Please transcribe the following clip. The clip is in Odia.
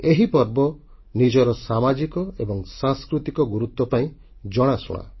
ଏହି ପର୍ବ ନିଜର ସାମାଜିକ ଏବଂ ସାଂସ୍କୃତିକ ଗୁରୁତ୍ୱ ପାଇଁ ଜଣାଶୁଣା